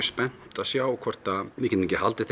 spennt að sjá hvort við getum ekki haldið